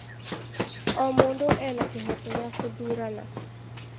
O mũndũ ena kĩhooto gĩa gũthurana.